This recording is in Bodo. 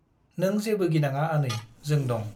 नों जेबो गिनाङा आनै जों दं ।